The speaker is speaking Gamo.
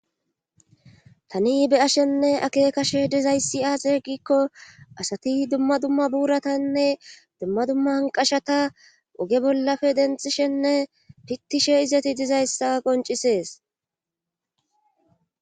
Tani beyashenne ake kashe dizayssi aaseegikko asati dumma dumma buuratanne dumma dumma anqashata oge bollafe dentishenne pittishe izati dizayssa qoncisees.